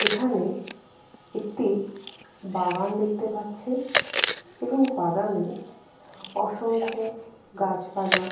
এখানে একটি বাগান দেখতে পাচ্ছে এবং বাগানে অসংখ্য গাছপালা।